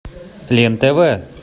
лен тв